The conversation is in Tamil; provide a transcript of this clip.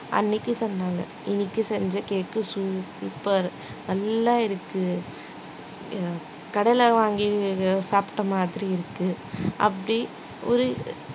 அன்னைக்கு சொன்னாங்க இன்னைக்கு செஞ்ச cake super நல்லா இருக்கு கடைல வாங்கி சாப்பிட்ட மாதிரி இருக்கு அப்படி ஒரு